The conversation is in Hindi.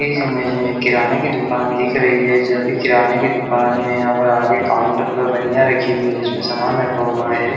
इस इमेज में एक किराने की दूकान दिख रही है जो अभी किराने की दूकान में यहाँ पर आगे काउंटर पर बनया रखी हुई है जिसमे सामान रखा हुआ है।